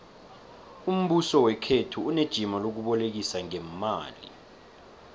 umbuso wekhethu unejima lokubolekisa ngeemali